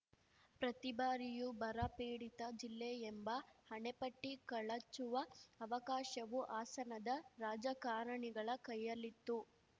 ಪ್ರತಿ ಬಾರಿಯೂ ಬರ ಪೀಡಿತ ಜಿಲ್ಲೆ ಎಂಬ ಹಣೆಪಟ್ಟಿ ಕಳಚುವ ಅವಕಾಶವೂ ಹಾಸನದ ರಾಜಕಾರಣಿಗಳ ಕೈಯಲ್ಲಿತ್ತು